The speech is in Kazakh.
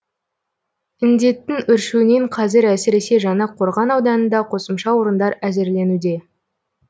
індеттің өршуінен қазір әсіресе жаңақорған ауданында қосымша орындар әзірленуде